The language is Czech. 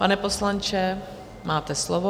Pane poslanče, máte slovo.